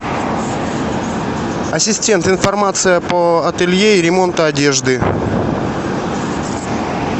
ассистент информация по ателье и ремонту одежды